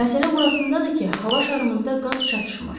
Məsələ burasındadır ki, hava şarımızda qaz çatışmır.